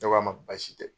Ne k'a ma baasi tɛ